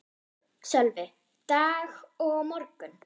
Sölvi: Dag og á morgun?